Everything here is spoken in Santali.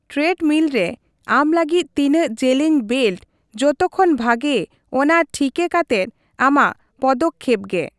ᱴᱨᱮᱰᱢᱤᱞ ᱨᱮ ᱟᱢ ᱞᱟᱹᱜᱤᱫ ᱛᱤᱱᱟᱹᱜ ᱡᱮᱞᱮᱧ ᱵᱮᱞᱴ ᱡᱚᱛᱚᱠᱷᱚᱱ ᱵᱷᱟᱜᱮ ᱚᱱᱟ ᱴᱷᱤᱠᱟᱹ ᱠᱟᱛᱮ ᱟᱢᱟᱜ ᱯᱚᱫᱚᱠᱷᱮᱯ ᱜᱮ ᱾